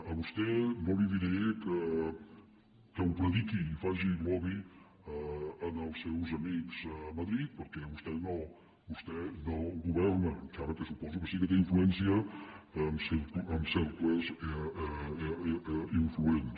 a vostè no li diré que ho prediqui i faci lobby en els seus amics a madrid perquè vostè no governa encara que suposo que sí que té influència en cercles influents